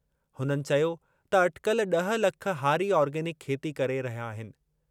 हुननि चयो त अटिकल ड॒ह लख हारी ऑर्गेनिक खेती करे रहिया आहिनि।